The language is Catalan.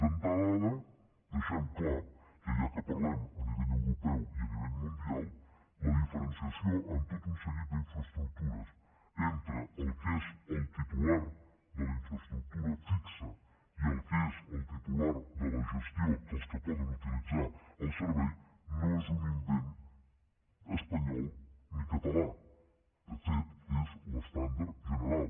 d’entrada deixem clar que ja que parlem a nivell europeu i a nivell mundial la diferenciació en tot un seguit d’infraestructures entre el que és el titular de la infraestructura fixa i el que és el titular de la gestió dels que poden utilitzar el servei no és un invent espanyol ni català de fet és l’estàndard general